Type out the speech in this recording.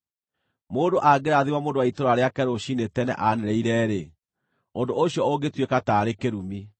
Mũndũ angĩrathima mũndũ wa itũũra rĩake rũciinĩ tene anĩrĩire-rĩ, ũndũ ũcio ũngĩtuĩka taarĩ kĩrumi.